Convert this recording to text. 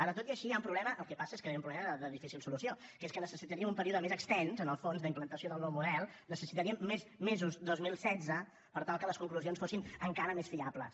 ara tot i així hi ha un problema el que passa és que hi ha un problema de difícil solució que és que necessitaríem un període més extens en el fons d’implantació del nou model necessitaríem més mesos dos mil setze per tal que les conclusions fossin encara més fiables